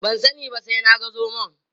Ban sani ba sai na ga zomon.